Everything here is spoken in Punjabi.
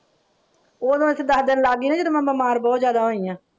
ਉਹ ਨਾ ਅਸੀਂ ਦੱਸ ਦਿਨ ਲਾ ਗਈਆਂ ਜਦੋਂ ਮੈਂ ਬਿਮਾਰ ਬਹੁਤ ਜਿਆਦਾ ਹੋਇ ਹਾਂ।